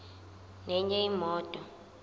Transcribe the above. nenye imoto